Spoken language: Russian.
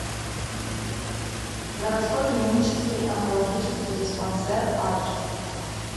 городской клинический онкологический диспансер адрес